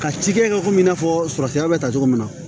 Ka ci kɛ ka ko i n'a fɔ sɔrɔsira bɛ ta cogo min na